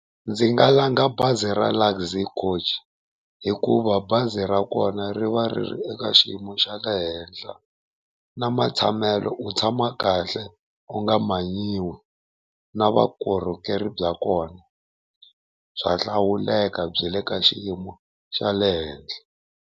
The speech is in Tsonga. Ndzi nga langha bazi ra Luxy Coach hikuva bazi ra kona ri va ri ri eka xiyimo xa le henhla na matshamelo u tshama kahle u nga manyiwi, na vukorhokeri bya kona bya hlawuleka byi le ka xiyimo xa le henhla.